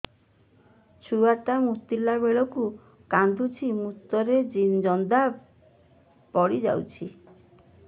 ଛୁଆ ଟା ମୁତିଲା ବେଳକୁ କାନ୍ଦୁଚି ମୁତ ରେ ଜନ୍ଦା ପଡ଼ି ଯାଉଛି